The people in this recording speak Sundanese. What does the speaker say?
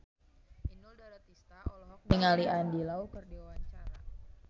Inul Daratista olohok ningali Andy Lau keur diwawancara